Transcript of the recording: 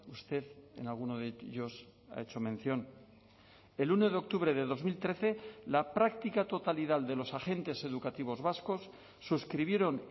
usted en alguno de ellos ha hecho mención el uno de octubre de dos mil trece la práctica totalidad de los agentes educativos vascos suscribieron